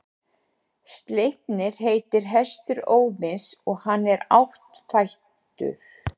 Sleipnir heitir hestur Óðins og er hann áttfættur.